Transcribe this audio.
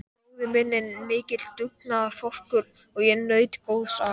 Bróðir minn er mikill dugnaðarforkur og ég naut góðs af.